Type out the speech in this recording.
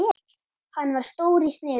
Hann var stór í sniðum.